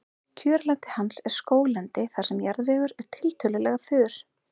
kjörlendi hans er skóglendi þar sem jarðvegur er tiltölulega þurr